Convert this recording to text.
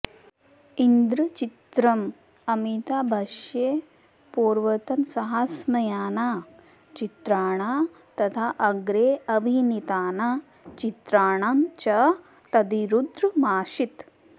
इदं चित्रम् अमिताभस्य पूर्वतनसाहसमयानां चित्राणां तथा अग्रे अभिनीतानां चित्राणां च तद्विरुद्धमासीत्